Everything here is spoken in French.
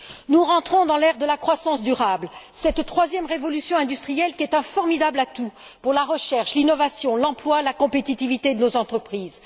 Nous rentrons dans l'ère de la croissance durable, cette troisième révolution industrielle qui est un formidable atout pour la recherche, l'innovation, l'emploi, la compétitivité de nos entreprises.